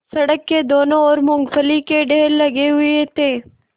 सड़क की दोनों ओर मूँगफली के ढेर लगे हुए थे